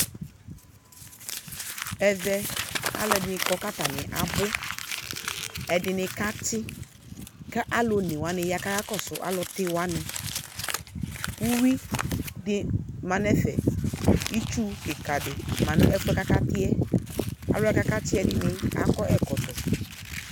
Ɛvɛ aluɛdini kɔ ku atani abu ɛdini kati alu onewani kakɔsu alutiwani uyui di ma nu ɛfɛ itsu kika di ma nu ɛfuɛ akati yɛ alu ɛdini wa kati akɔ ɛkɔtɔ